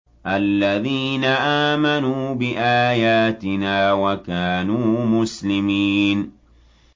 الَّذِينَ آمَنُوا بِآيَاتِنَا وَكَانُوا مُسْلِمِينَ